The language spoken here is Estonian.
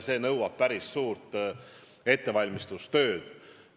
See nõuab päris suurt ettevalmistustööd.